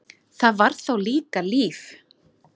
Það var þá líka líf!